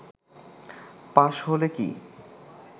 পাশ হলে কি